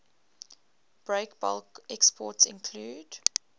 breakbulk exports include